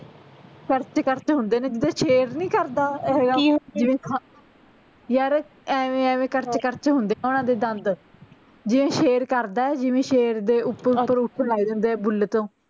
ਕਰਚ ਕਰਚ ਹੁੰਦੇ ਨੇ ਜਿੱਦਾਂ ਸ਼ੇਰ ਨੀ ਕਰਦਾ ਯਾਰ ਐਵੇਂ ਐਵੇਂ ਕਰਚ ਕਰਚ ਹੁੰਦੇ ਓਹਨਾ ਦੇ ਦੰਦ ਜਿਵੇਂ ਸ਼ੇਰ ਕਰਦਾ ਆ ਜਿਵੇਂ ਸ਼ੇਰ ਦੇ ਉਪਰੋਂ ਉਪਰੋਂ ਉੱਠਣ ਲਗ ਜਾਂਦੇ ਆ ਬੁੱਲ ਤੋਂ